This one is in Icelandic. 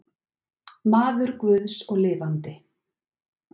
Maður guðs og lifandi.